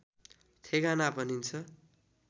ठेगाना भनिन्छ